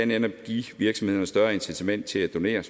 netop give virksomhederne et større incitament til at donere